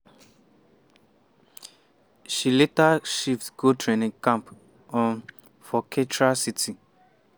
she later shift go training camp um for katra city.